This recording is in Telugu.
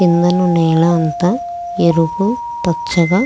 కిందను నేల అంతా ఎరుపు పచ్చగా --